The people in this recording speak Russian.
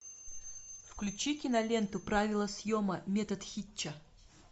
включи киноленту правило съема метод хитча